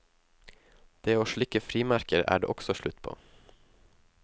Det å slikke frimerker er det også slutt på.